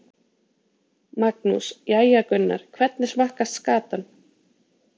Magnús: Jæja Gunnar, hvernig smakkast skatan?